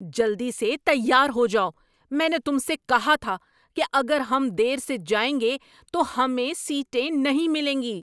جلدی سے تیار ہو جاؤ! میں نے تم سے کہا تھا اگر ہم دیر سے جائیں گے تو ہمیں سیٹیں نہیں ملیں گی۔